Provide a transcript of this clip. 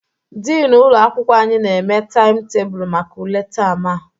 Dini ụlọ akwụkwọ anyị na-eme taịmụ tebulu maka ule taam a